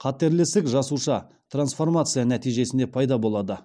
қатерлі ісік жасуша трансформация нәтижесінде пайда болады